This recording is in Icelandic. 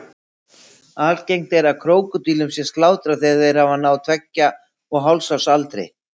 Algengt er að krókódílum sé slátrað þegar þeir hafa náð tveggja og hálfs árs aldri.